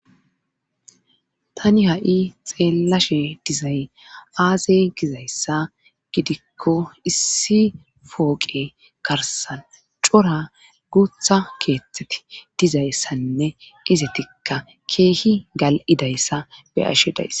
tani ha7i xeellashe dizay aaze gizayssa gidikko issi pooqe karsan cora guutha keeththeti dizayssanne qizetikka keehi gal7idayssa be ashe dayss